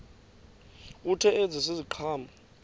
kuthi ezi ziqhamo